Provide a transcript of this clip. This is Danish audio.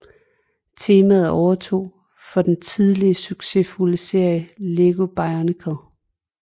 Temaet overtog for den tidligere succesfulde serie Lego Bionicle